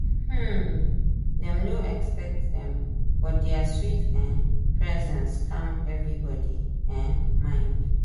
um dem no expect dem but dia sweet um presence calm everybody um mind.